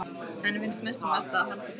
Henni finnst mest um vert að halda friðinn.